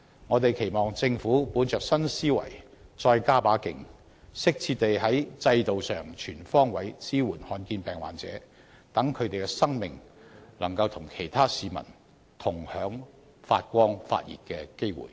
我們期望政府本着新思維再加把勁，適切地在制度上全方位支援罕見疾病患者，讓他們的生命可以與其他市民同享發光發熱的機會。